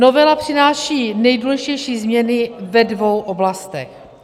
Novela přináší nejdůležitější změny ve dvou oblastech.